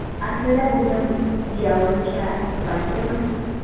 Aslida bo‘yim ja uncha past emas.